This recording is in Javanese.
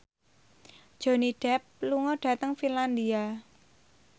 Johnny Depp lunga dhateng Finlandia